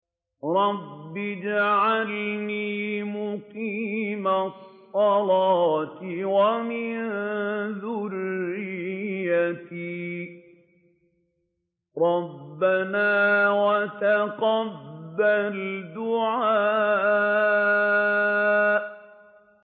رَبِّ اجْعَلْنِي مُقِيمَ الصَّلَاةِ وَمِن ذُرِّيَّتِي ۚ رَبَّنَا وَتَقَبَّلْ دُعَاءِ